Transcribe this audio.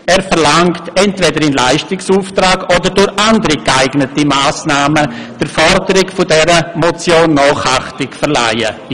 Er verlangt, dass entweder im Leistungsauftrag oder durch andere geeignete Massnahmen der Forderung dieser Motion Nachachtung verliehen wird.